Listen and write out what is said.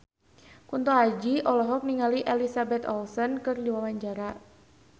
Kunto Aji olohok ningali Elizabeth Olsen keur diwawancara